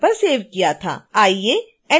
आइए एनीमेशन शुरू करते हैं